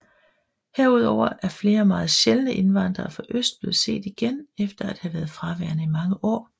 Herudover er flere meget sjældne indvandrere fra øst blevet set igen efter at have været fraværende i mange år